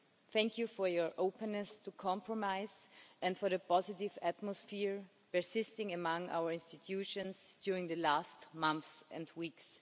Thank you for your openness to compromise and for the positive atmosphere persisting among our institutions during the last months and weeks.